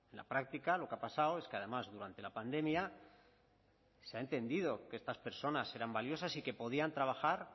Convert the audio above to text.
la práctica lo que ha pasado es que además durante la pandemia se ha entendido que estas personas eran valiosas y que podían trabajar